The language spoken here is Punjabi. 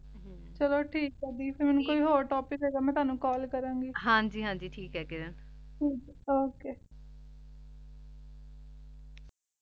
ਚਲੋ ਠੀਕ ਆਯ ਦੀ ਫੇਰ ਮੇਨੂ ਕੋਈ ਹੋਰ੍ਤੋਪਿਕ ਹੋਆਯ ਗਾ ਮੈਂ ਤਾਣੁ ਕਾਲ ਕਰਨ ਗੀ ਹਾਂਜੀ ਹਾਂਜੀ ਠੀਕ ਆਯ ਕਿਰਣ okay